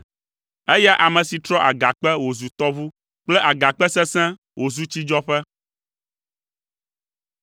eya ame si trɔ agakpe wòzu tɔʋu kple agakpe sesẽ wòzu tsidzɔƒe.